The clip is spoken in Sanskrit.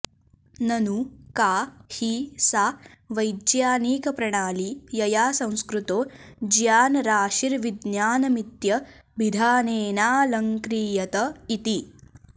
ननु का हि सा वैज्ञानिकप्रणाली यया संस्कृतो ज्ञानराशिर्विज्ञानमित्यभिधानेनाऽलङ्क्रियत इति